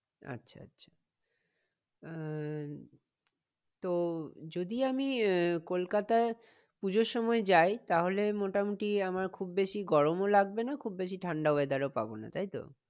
আচ্ছা আচ্ছা আহ তো যদি আমি আহ কলকাতায় পুজোর সময় যাই তাহলে মোটামুটি আমার খুব বেশি গরমও লাগবে না খুব বেশি ঠান্ডা weather ও পাবো না তাই তো?